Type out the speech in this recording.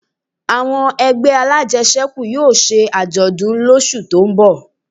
Àwọn ẹgbẹ́ alájẹsẹ́kù yóò ṣe àjọ̀dún lósù tó ń bọ̀